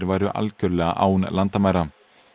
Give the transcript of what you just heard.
væru algjörlega án landamæra